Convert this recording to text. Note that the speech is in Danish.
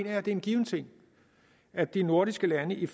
at det er en given ting at de nordiske lande i